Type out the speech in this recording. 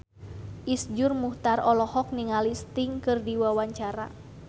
Iszur Muchtar olohok ningali Sting keur diwawancara